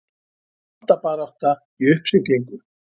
Valdabarátta í uppsiglingu